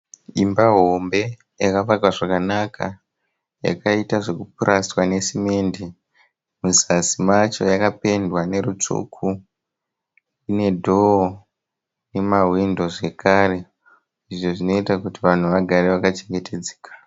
Imba hombe yakavakwa zvakanaka yakaita zveku purasitwa nesimende muzasi macho yakapendwa nerutsvuku ine dho nemahwindo zvekare izvo zvinoita kuti vanhu vagare vaka chengetedzeka.